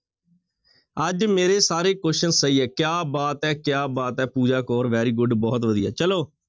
ਅੱਜ ਮੇਰੇ ਸਾਰੇ question ਸਹੀ ਹੈ ਕਿਆ ਬਾਤ ਹੈ, ਕਿਆ ਬਾਤ ਹੈ ਪੂਜਾ ਕੌਰ very good ਬਹੁਤ ਵਧੀਆ ਚਲੋ।